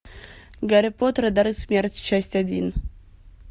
гарри поттер и дары смерти часть один